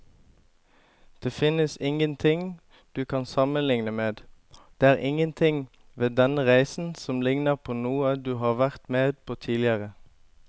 Det finnes ingenting du kan sammenligne med, det er ingenting ved denne reisen som ligner på noe du har vært med på tidligere.